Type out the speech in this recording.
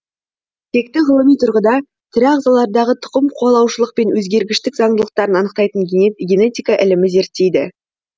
текті ғылыми тұрғыда тірі ағзалардағы тұқымқуалаушылық пен өзгергіштік заңдылықтарын анықтайтын генетика ілімі зерттейді